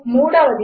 మూడవది